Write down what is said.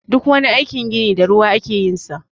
Duk wani aikin gini da ruwa ake yin sa.